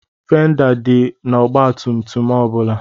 Fenda dị n'ọgbatumtum ọ bụla.